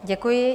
Děkuji.